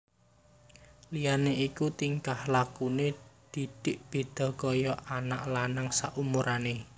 Liyane iku tingkah lakune Didik beda kaya anak lanang saumurane